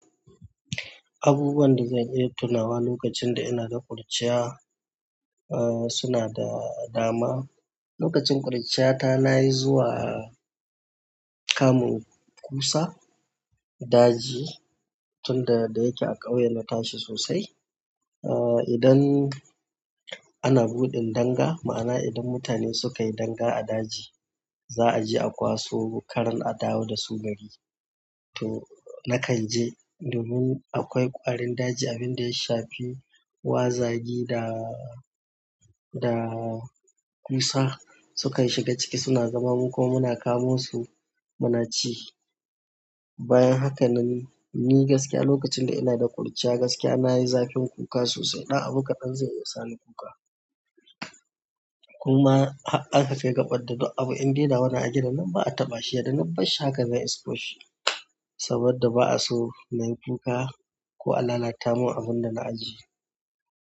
Abubuwan da zan iya tunawa lokacin da ina da kurciya, uh suna da dama. Lokacin kurciyata nayi zuwa kamun kusa, daji tunda dayake a ƙauyen na tashi sosai. Uh idan ana buɗin danga, ma'ana idan mutane suka yi danga a daji, za a je a kwaso karen a dawo da su gari. To, nakan je domin akwai ƙwarin daji abin da ya shafi gwazagi da, da ƙusa, sukan shiga ciki suna zama mukuma muna kamo su muna ci. Bayan haka nan, ni gaskiya lokacin da ina da ƙuruciya gaskiya nayi zakin kuka sosai. Ɗan abu kaɗan zai iya sa ni kuka. Kuma har a ka kai kaɓar da duk abu in dai nawane a gidan nan ba'a taɓa shi, yadda na bar shi haka zan isko shi. Saboda ba'a so nayi kuka, ko a lalata min abin da na ajiye.